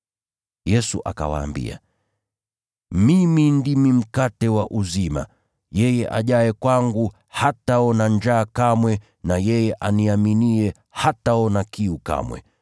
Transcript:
Yesu akawaambia, “Mimi ndimi mkate wa uzima. Yeye ajaye kwangu, hataona njaa kamwe na yeye aniaminiye, hataona kiu kamwe.